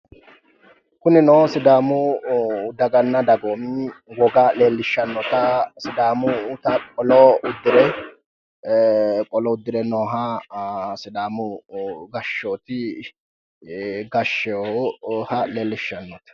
Kunino sidaamu daganna dagoomi leellishshannota sidaamunnita qolo uddire qolo uddire nooha sidaamu gashooti gashsheeha leellishshannote.